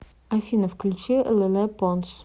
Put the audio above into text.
афина включи леле понс